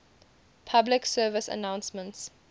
public service announcements